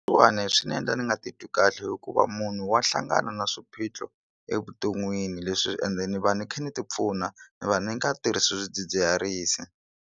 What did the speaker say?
Leswiwani swi ni endla ni nga titwi kahle hikuva munhu wa hlangana na swiphiqo evuton'wini leswi ende ni va ni kha ni ti pfuna ni va ni nga tirhisi swidzidziharisi.